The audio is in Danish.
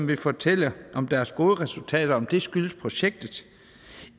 vil fortælle om deres gode resultater skyldes projektet